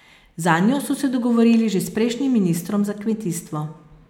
Zanjo so se dogovorili že s prejšnjim ministrom za kmetijstvo.